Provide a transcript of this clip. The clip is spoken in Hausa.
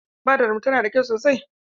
Fadar mu tana da kyau sosai.